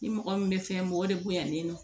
Ni mɔgɔ min bɛ fɛn mɔgɔ de bonya ni nɔ